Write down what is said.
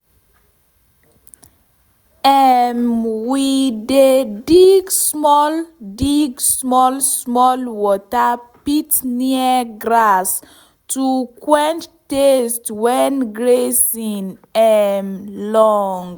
um we dey dig small dig small small water pit near grass to quench thirst wen grazing um long.